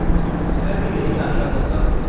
मैं भी यही आशा करता हूँ।